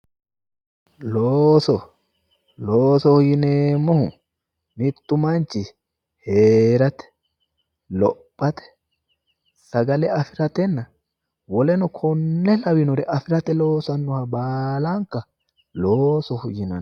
Looso, loosoho yineemmohu mittu manchi hee'rate, lophate sagale afi'ratenna woleno konne labbannore afi'rate baalanka loosoho yinanni.